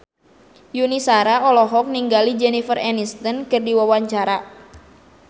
Yuni Shara olohok ningali Jennifer Aniston keur diwawancara